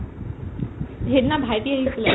সিদিনা ভাইটি আহিছিলে